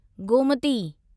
Gomti